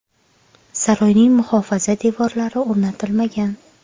Saroyning muhofaza devorlari o‘rnatilmagan.